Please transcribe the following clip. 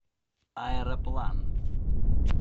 аэроплан